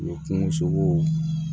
U ye kungo sogow